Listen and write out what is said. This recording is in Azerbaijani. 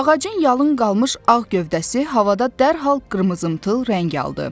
Ağacın yalın qalmış ağ gövdəsi havada dərhal qırmızımtıl rəng aldı.